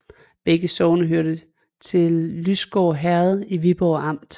Begge sogne hørte til Lysgård Herred i Viborg Amt